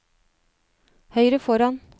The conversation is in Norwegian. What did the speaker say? høyre foran